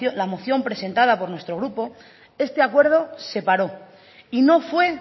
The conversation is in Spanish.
la moción presenta por nuestro grupo este acuerdo se paró y no fue